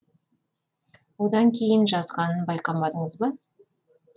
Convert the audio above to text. одан кейін жазғанын байқамадыңыз ба